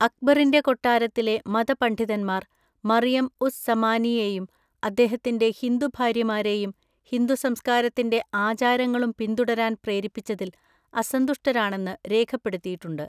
അക്ബറിൻ്റെ കൊട്ടാരത്തിലെ മതപണ്ഡിതന്മാർ മറിയം ഉസ് സമാനിയെയും അദ്ദേഹത്തിൻ്റെ ഹിന്ദു ഭാര്യമാരെയും ഹിന്ദു സംസ്കാരത്തിൻ്റെ ആചാരങ്ങളും പിന്തുടരാൻ പ്രേരിപ്പിച്ചതിൽ അസന്തുഷ്ടരാണെന്ന് രേഖപ്പെടുത്തിയിട്ടുണ്ട്.